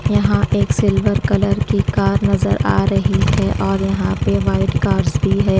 यहा एक silver colour की कार नज़र आ रही है और यहा पे वाइट कार्स भी है ।